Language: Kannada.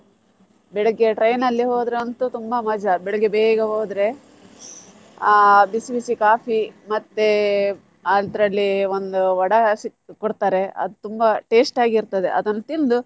ಬೆಳಿಗ್ಗೆ train ಅಲ್ಲಿ ಹೋದ್ರು ಅಂತೂ ತುಂಬಾ ಮಜಾ ಬೆಳಿಗ್ಗೆ ಬೇಗ ಹೋದ್ರೆ ಆ ಬಿಸಿ ಬಿಸಿ coffee ಮತ್ತೆ ಅದ್ರಲ್ಲಿ ಒಂದ್ vada ಸಿಕ್~ ಕೊಡ್ತಾರೆ ಅದು ತುಂಬಾ taste ಆಗಿರ್ತದೆ ಅದನ್ನ್ ತಿಂದು.